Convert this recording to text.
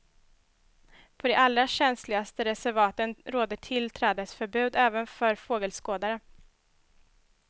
På de allra känsligaste reservaten råder tillträdesförbud även för fågelskådare.